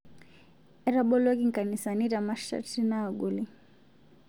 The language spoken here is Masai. Etaboloki nkanisani te masharti naagoli